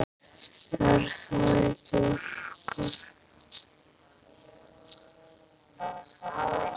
Er það ekki Óskar?